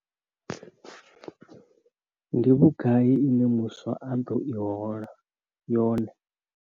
Ndi vhugai ine muswa a ḓo hola yone?